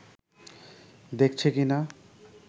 দেখছে কি না